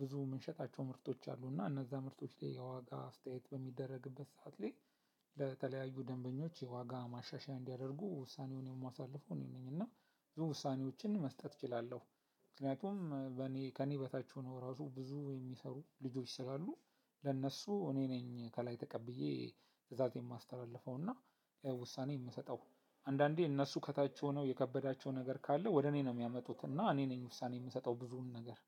ብዙ የምንሸጣቸው ምርቶች አሉ እና እነዛ ምርቶች ላይ የዋጋ አስተያየት በሚደረግበት ሰዓት ላይ። ለተለያዩ ደንበኞች የዋጋ ማሻሻያ እንዲያደርጉ ውሳኔውን የማሳልፈው እኔ ነኝ እና ብዙ ውሳኔዎችን መስጠት እችላለሁ። ምክንያቱም በኔ ከኔ በታች ሆኖ ራሱ ብዙ የሚሰሩ ልጆች ስላሉ። ለእነሱ እኔ ነኝ ከላይ ተቀብዬ ትእዛዝ የማስተላልፈው እና ውሳኔ የምሰጠው። አንዳንዴ እነሱ ከታች ሆነው የከበዳቸው ነገር ካለ ወደ እኔ ነው የሚያመጡት እና እኔ ነኝ ውሳኔ የምሰጠው ብዙውን ነገር